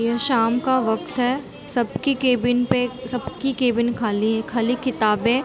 यह शाम का वक़्त है सबकी केबिन पे सबकी केबिन खाली है खाली किताबे --